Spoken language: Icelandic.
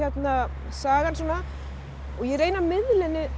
sagan svona og ég reyni að miðla henni